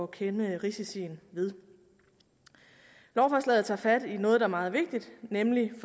kende risiciene ved lovforslaget tager fat i noget der er meget vigtigt nemlig i